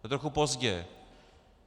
To je trochu pozdě.